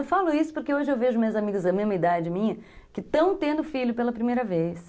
Eu falo isso porque hoje eu vejo minhas amigas da mesma idade minha que estão tendo filho pela primeira vez.